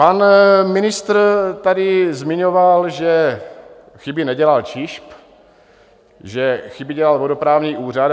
Pan ministr tady zmiňoval, že chyby nedělal ČIŽP, že chyby dělal vodoprávní úřad.